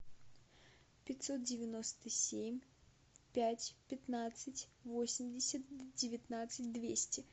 пятьсот девяносто семь пять пятнадцать восемьдесят девятнадцать двести